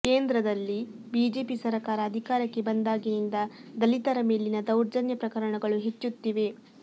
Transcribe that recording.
ಕೇಂದ್ರದಲ್ಲಿ ಬಿಜೆಪಿ ಸರಕಾರ ಅಧಿಕಾರಕ್ಕೆ ಬಂದಾಗಿನಿಂದ ದಲಿತರ ಮೇಲಿನ ದೌರ್ಜನ್ಯ ಪ್ರಕರಣಗಳು ಹೆಚ್ಚುತ್ತಿವೆ